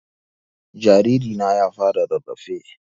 Jariri na ya fara rarrafe